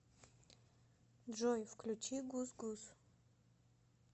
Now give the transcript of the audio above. джой включи гусгус